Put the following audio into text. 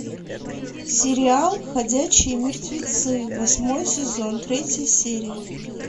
сериал ходячие мертвецы восьмой сезон третья серия